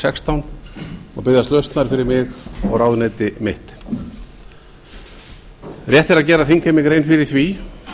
sextán og biðjast lausnar fyrir mig og ráðuneyti mitt rétt er að gera þingheimi ráð fyrir því